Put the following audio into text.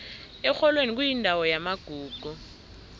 erholweni kuyindawo yamagugu